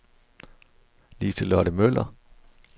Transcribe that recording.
Lise-Lotte Møller